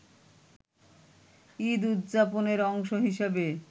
ঈদ উদযাপনের অংশ হিসেবে